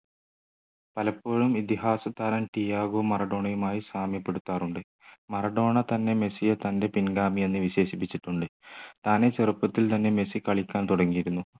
പലപ്പോഴും ഇതിഹാസതാരം തിയാഗോ മറഡോണയുമായി സാമ്യപ്പെടുത്താറുണ്ട് മറഡോണ തന്നെ മെസ്സിയെ തൻ്റെ പിൻഗാമി എന്ന് വിശേഷിപ്പിച്ചിട്ടുണ്ട് താനേ ചെറുപ്പത്തിൽ തന്നെ മെസ്സി കളിക്കാൻ തുടങ്ങിയിരുന്നു